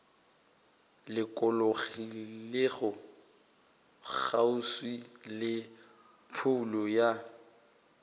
lokologilego kgauswi le phoulo ya